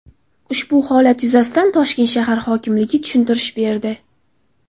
Ushbu holat yuzasidan Toshkent shahar hokimligi tushuntirish berdi .